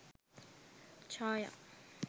chaya